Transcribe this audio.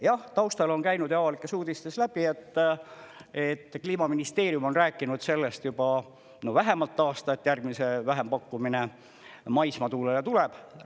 Jah, taustal on käinud ja avalikes uudistest läbi, et Kliimaministeerium on rääkinud sellest juba vähemalt aasta, et järgmine vähempakkumine maismaatuulele tuleb.